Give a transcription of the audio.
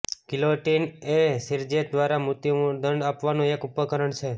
guillotine એ શિરચ્છેદ દ્વારા મૃત્યુદંડ આપવાનું એક ઉપકરણ છે